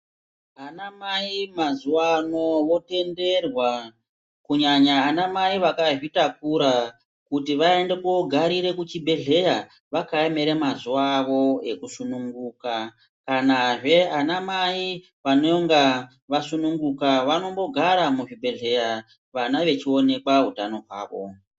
Anamai mazuvano votenderwa kunyanya anamai akazvitakura kuti vaende kogarira kuchibhedhleya vakaemera mazuwa avo ekusununguka kanazve anamai vanonga vasununguka vanombogara muzvibhedhleya vana vechionekwa utano hwavo